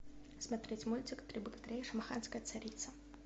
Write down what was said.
смотреть мультик три богатыря и шамаханская царица